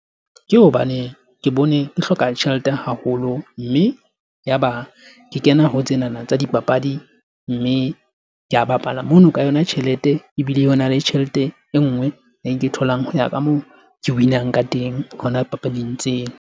Ke hobane ke bone ke hloka tjhelete haholo. Mme ya ba ke kena ho tsena na tsa dipapadi mme ke a bapala mono ka yona tjhelete. Ebile ho na le tjhelete e nngwe e ke tholang ho ya ka moo ke win-ang ka teng, hona papading tseo.